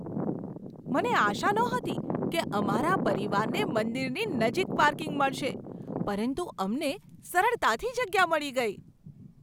મને આશા નહોતી કે અમારા પરિવારને મંદિરની નજીક પાર્કિંગ મળશે, પરંતુ અમને સરળતાથી જગ્યા મળી ગઈ.